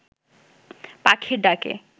পাখির ডাকে